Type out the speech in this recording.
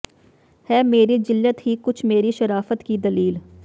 ਹੈ ਮੇਰੀ ਜ਼ਿੱਲਤ ਹੀ ਕੁਛ ਮੇਰੀ ਸ਼ਰਾਫ਼ਤ ਕੀ ਦਲੀਲ